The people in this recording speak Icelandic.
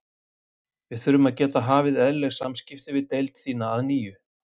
Við þurfum að geta hafið eðlileg samskipti við deild þína að nýju